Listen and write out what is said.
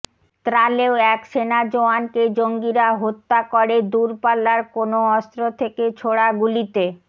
ত্রালেও এক সেনা জওয়ানকে জঙ্গিরা হত্যা করে দূরপাল্লার কোনও অস্ত্র থেকে ছোড়া গুলিতে